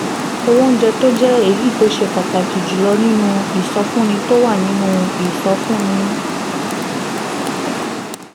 owó oúnjẹ tó jẹ́ èyí tó ṣe pàtàkì jù lọ nínú ìsọfúnni tó wà nínú ìsọfúnni